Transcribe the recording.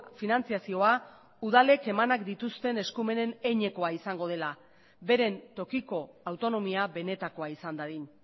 finantzazioa udalek emanak dituzten eskumenen heinekoa izango dela beren tokiko autonomia benetakoa izan dadin